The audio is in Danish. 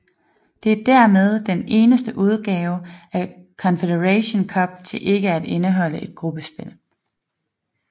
Det er dermed den eneste udgave af Confederations Cup til ikke at indeholde et gruppespil